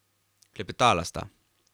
Klepetala sta.